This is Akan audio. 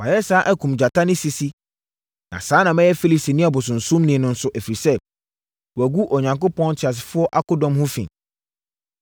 Mayɛ saa akum gyata ne sisi, na saa na mɛyɛ Filistini ɔbosonsomni no nso, ɛfiri sɛ, wagu Onyankopɔn Teasefoɔ akodɔm ho fi.